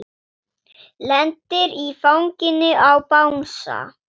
Lendir í fanginu á bangsa.